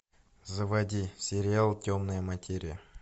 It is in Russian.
заводи сериал темная материя